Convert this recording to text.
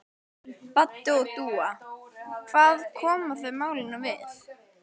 Baddi og Dúa, hvað koma þau málinu við?